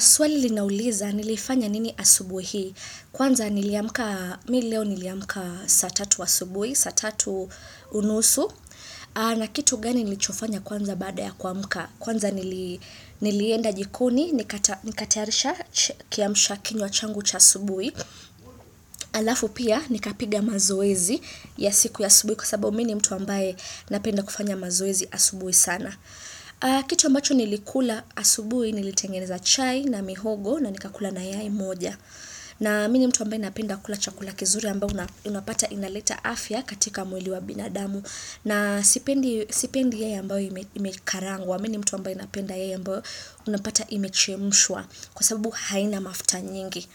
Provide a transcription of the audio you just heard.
Swali linauliza nilifanya nini asubuhi hii. Kwanza niliamka, mimi leo niliamka saa tatu asubuhi, satatu unusu. Na kitu gani nilichofanya kwanza baada ya kuamka. Kwanza nilienda jikoni, nikatayarisha kiamsha kinywa changu cha asubuhi. Halafu pia nikapiga mazoezi ya siku ya asubuhi kwa sababu mimi ni mtu ambaye napenda kufanya mazoezi asubuhi sana kitu ambacho nilikula asubuhi nilitengeneza chai na mihogo na nikakula na yai moja na mimi ni mtu ambaye ninapenda kula chakula kizuri ambao unapata inaleta afya katika mwili wa binadamu na sipendi yai ambayo imekarangwa mimi ni mtu ambaye napenda yai ambayo unapata imechemshwa kwa sababu haina mafuta nyingi